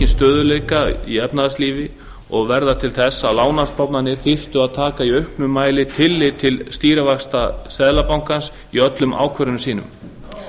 stöðugleika í efnahagslífi og verða til þess að lánastofnanir þyrftu að taka í auknum mæli tillit til stýrivaxta seðlabankans í öllum ákvörðunum sínum